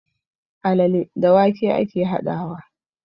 Alale da wake ake haɗawa